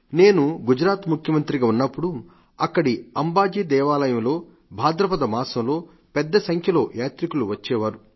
నేను గుజరాత్ ముఖ్యమంత్రిగా ఉన్నప్పుడు అక్కడి అంబాజీ దేవాలయంలో భాద్రపద మాసంలో పెద్దసంఖ్యలో యాత్రికులు వచ్చేవారు